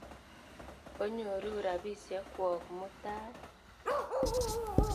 Onyoru rapisyek kwok mutai.